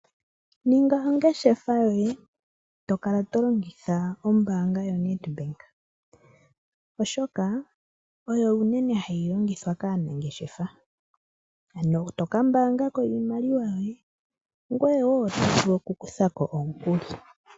Ninga ongeshefa yoye eto kala tolongitha ombanga yoNedbank, oshoka oyo unene hayi longithwa kaanangeshefa ano toka mbangako iimaliwa yoye ngoyewo oto vulu oku kuthako omukuli.